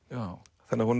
þannig að hún